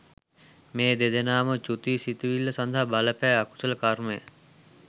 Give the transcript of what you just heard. මේ දෙදෙනාම චුති සිතිවිල්ල සඳහා බලපෑ අකුසල කර්මය